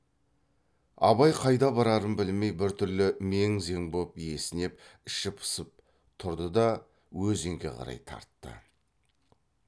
абай қайда барарын білмей біртүрлі мең зең боп есінеп іші пысып тұрды да өзенге қарай тартты